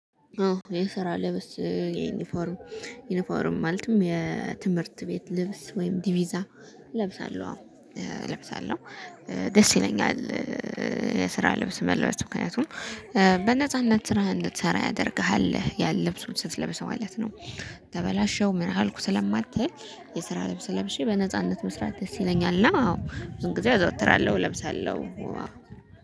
አዎ የስራ ልብስ ዩኒፎርም ዩኒፎርም ማለትም የትምህርት ቤት ልብስ ወይም ዲቪዛ እለብሳለሁ አዎ እለብሳለሁ። ደስ ይለኛል የስራ ልብስ መልበስ ምክንያቱም በነጻነት ስራህን እንድትሰራ ያደርግሃል ያን ልብሱን ስትለብሰው ማለት ነው። ተበላሸው ምን አልኩ ስለማትል የስራ ልብስ ለብሼ በነጻነት መስራት ደስ ይለኛል። እና አዎ ብዙ ጊዜ አዘወትራለሁ እለብሳለሁ። ዋው